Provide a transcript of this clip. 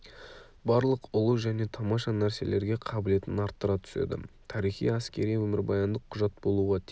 барлық ұлы және тамаша нәрселерге қабілетін арттыра түседі тарихи әскери өмірбаяндық құжат болуға тиіс